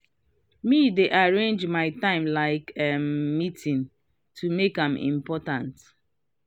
me dey arrange my time like um meetings to make am important. make am important.